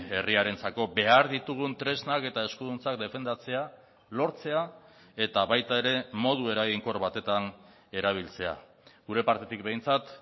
herriarentzako behar ditugun tresnak eta eskuduntzak defendatzea lortzea eta baita ere modu eraginkor batetan erabiltzea gure partetik behintzat